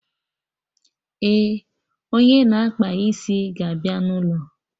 Eh, onye na-akpa isi ga abịa na ụlọ